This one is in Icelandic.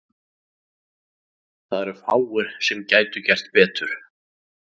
Það eru fáir sem gætu gert betur.